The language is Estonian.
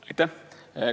Aitäh!